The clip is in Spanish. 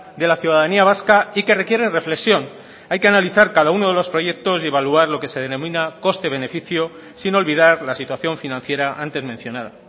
de la ciudadanía vasca y que requieren reflexión hay que analizar cada uno de los proyectos y evaluar lo que se denomina coste beneficio sin olvidar la situación financiera antes mencionada